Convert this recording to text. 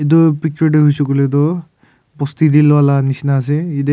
etu picture tu hoishe koile tu bosti te luala nishena ase yate.